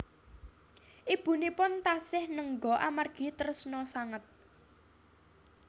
Ibunipun taksih nengga amargi tresna sanget